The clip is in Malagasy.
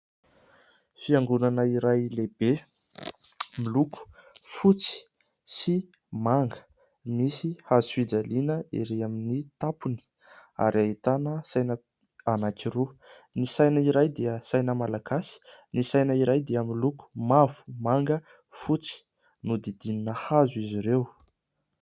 Fiangonana iray lehibe miloko fotsy sy manga, misy hazofijaliana ery amin'ny tampony ary ahitana saina anankiroa, ny saina iray dia saina malagasy ny saina iray dia miloko mavo, manga, fotsy, nodidinina hazo izy ireo.